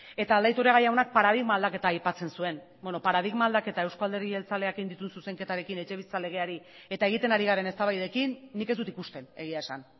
eta aldaiturriaga jaunak paradigma aldaketa aipatzen zuen bueno paradigma aldaketa eusko alderdi jeltzaleak egin dituen zuzenketarekin etxebizitza legeari eta egiten ari garen eztabaidarekin nik ez dut ikusten egia esan